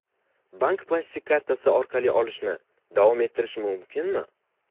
Bank plastik kartasi orqali olishni davom ettirish mumkinmi?